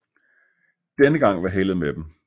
Denne gang var heldet med dem